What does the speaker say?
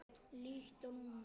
Líkt og núna.